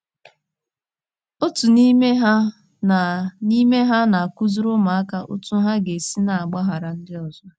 Otu n’ime ha na n’ime ha na - akụziri ụmụaka otú ha ga - esi na - agbaghara ndị ọzọ.